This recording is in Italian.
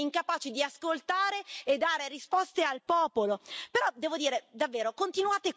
Schifate i populisti, perché voi siete incapaci di ascoltare e dare risposte al popolo.